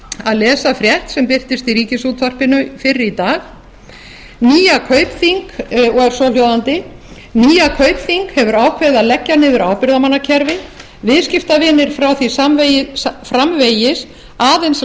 að lesa frétt sem birtist í ríkisútvarpinu fyrr í dag og var svohljóðandi nýja kaupþing hefur ákveðið að leggja niður ábyrgðarmannakerfi viðskiptavinir fá því framvegis aðeins